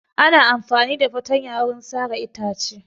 Ana amfani da fatanya wurin sare itace.